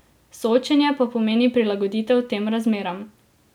Soočenje pa pomeni prilagoditev tem razmeram.